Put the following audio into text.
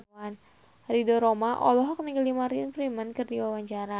Ridho Roma olohok ningali Martin Freeman keur diwawancara